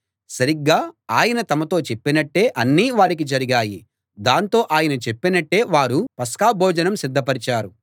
సరిగ్గా ఆయన తమతో చెప్పినట్టే అన్నీ వారికి జరిగాయి దాంతో ఆయన చెప్పినట్టే వారు పస్కాభోజనం సిద్ధపరిచారు